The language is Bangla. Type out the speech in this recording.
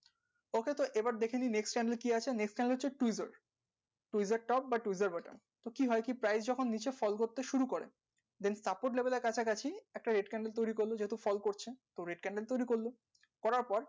okay তো এবার দেখে নি next candle কি আছে next candle হচ্ছে tweezer tweezer top বা tweezer button তো কি হয় কি price যখন নিচে fall করতে শুরু করে then support label এর কাছাকাছি একটা red candle করলে যেহেতু fall করছে তো red candle তৈরী করলো বরাবর